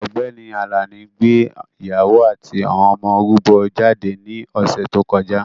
Ọ̀gbẹ́ni Àlàní gbé ìyàwó àti àwọn ọmọ rúbọ jáde ní ọ̀sè tó kọjá.